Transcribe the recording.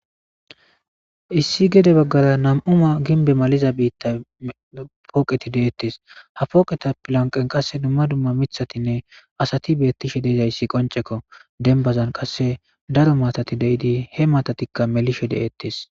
Issi gede baggara nam'u mala poqe kethati detesi ha poqeza bolla duma duma assati betishe dizayisi qonicceko he baggara darro mattati melishe desiko